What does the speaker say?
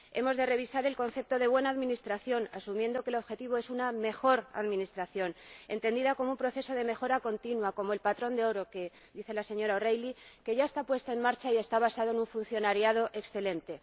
Hemos de revisar el concepto de buena administración asumiendo que el objetivo es una mejor administración, entendida como un proceso de mejora continua, como el patrón de oro al que se refiere la señora O'Reilly, que ya está puesto en marcha y está basado en un funcionariado excelente.